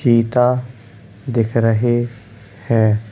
चीता दिख रहे हैं।